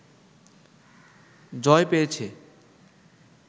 জয় পেয়েছে